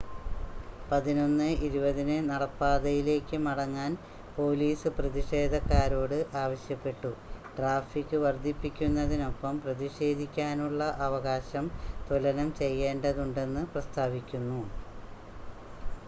11:20 ന് നടപ്പാതയിലേക്ക് മടങ്ങാൻ പോലീസ് പ്രതിഷേധക്കാരോട് ആവശ്യപ്പെട്ടു ട്രാഫിക് വർദ്ധിപ്പിക്കുന്നതിനൊപ്പം പ്രതിഷേധിക്കാനുള്ള അവകാശം തുലനം ചെയ്യേണ്ടതുണ്ടെന്ന് പ്രസ്താവിക്കുന്നു